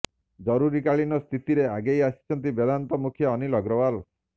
ଜରୁରୀକାଳୀନ ସ୍ଥିତିରେ ଆଗେଇ ଆସିଛନ୍ତି ବେଦାନ୍ତ ମୁଖ୍ୟ ଅନୀଲ ଅଗ୍ରୱାଲ